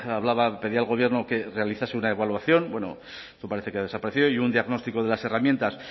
pedía al gobierno que realizase una evaluación bueno eso parece que ha desaparecido y un diagnóstico de las herramientas